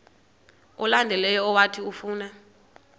olandelayo owathi ufuna